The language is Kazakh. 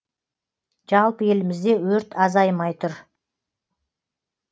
жалпы елімізде өрт азаймай тұр